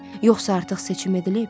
Yoxsa artıq seçim edilib?